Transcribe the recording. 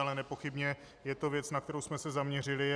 Ale nepochybně je to věc, na kterou jsme se zaměřili.